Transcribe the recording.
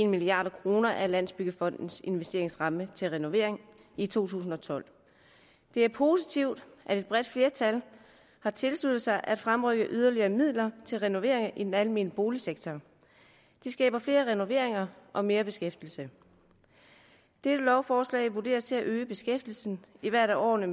milliard kroner af landsbyggefondens investeringsramme til renovering i to tusind og tolv det er positivt at et bredt flertal har tilsluttet sig at fremrykke yderligere midler til renovering i den almene boligsektor det skaber flere renoveringer og mere beskæftigelse dette lovforslag vurderes til at øge beskæftigelsen i hvert af årene